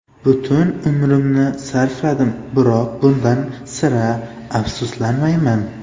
Butun umrimni sarfladim, biroq bundan sira afsuslanmayman.